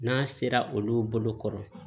N'a sera olu bolo kɔrɔ